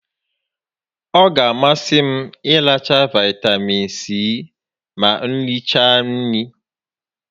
Ọ ga a masị m ịracha Vaịtamiin Sii ma m richaa nri